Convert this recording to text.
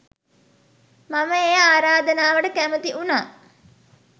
මම ඒ ආරාධනාවට කැමති වුණා.